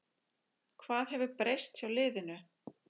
Hvað hefur breyst hjá liðinu?